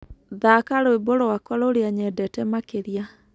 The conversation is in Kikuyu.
thaka rwĩmbo rwakwa rũrĩa nyendete makĩrĩa